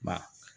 Ba